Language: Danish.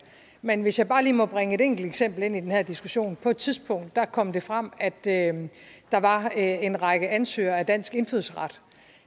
men hvis jeg bare lige må bringe et enkelt eksempel ind i den her diskussion på et tidspunkt kom det frem at at der var en række ansøgere til dansk indfødsret